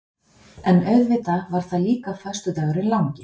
En auðvitað var það líka föstudagurinn langi.